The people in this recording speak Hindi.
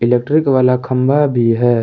इलेक्ट्रिक वाला खंबा भी है।